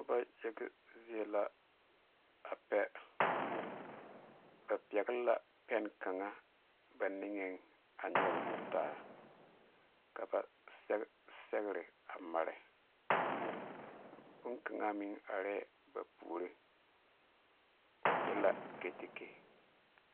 Noba yaga zie la a pɛ ba pɛgle la pɛne kaŋa ba niŋeŋ a nyɔge taa ka ba sɛge sɛgre a mare bonkaŋ meŋ arɛɛ ba puori o e la katakye.